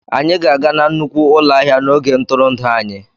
Anyị ga-aga na nnukwu ụlọ ahịa n'oge ntụrụndụ anyị